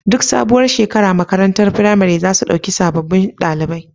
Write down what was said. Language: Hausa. Duk sabuwar shekara makarantar firamare zasu ɗauki sababun ɗalibai